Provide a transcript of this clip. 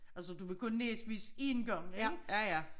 Altså du var kun næsvis en gang ik